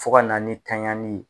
Fɔ ka na ni taɲani ye.